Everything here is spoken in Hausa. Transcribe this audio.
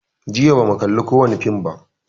Jiya ba mu kalli kowani fim ba